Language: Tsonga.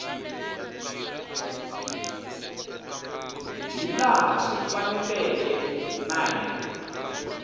hilaha swi faneleke na hi